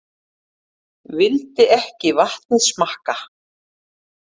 Vildi ekki vatnið smakka